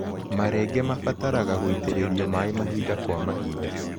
Marenge mabataraga gũitĩrĩrio maĩ mahinda kwa mahinda.